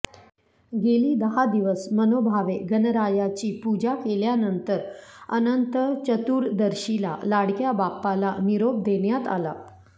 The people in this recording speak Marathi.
गेली दहा दिवस मनोभावे गणरायाची पूजा केल्यानंतर अनंत चतुर्दशीला लाडक्या बाप्पाला निरोप देण्यात आला